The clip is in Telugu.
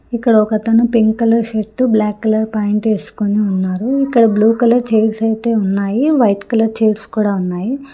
ఇక్కడ ఒకతను pink colour shirt black colour pant వేసుకోని ఉన్నారు ఇక్కడ బ్లూ కలర్ చైర్స్ అయితే ఉన్నాయి వైట్ కలర్ చైర్స్ కూడా ఉన్నాయి.